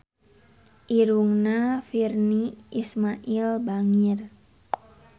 Irungna Virnie Ismail bangir